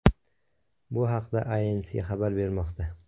Bu haqda Inc. xabar bermoqda .